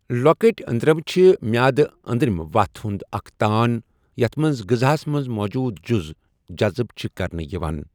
لۄکٔٹۍ أنٛدرَم چھِ میادٕ أندرَم وَتھ ہُنٛد اَکھ تان یَتھ مَنٛز غٕزاہَس مَنٛز موجود جُز جزب چھِ کَرنہٕ یِوان۔